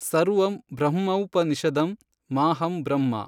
ಸರ್ವಮ್ ಬ್ರಹ್ಮೌಪನಿಷದಮ್ ಮಾಽಹಂ ಬ್ರಹ್ಮ